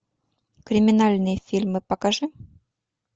криминальные фильмы покажи